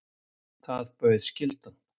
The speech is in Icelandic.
Það bauð skyldan.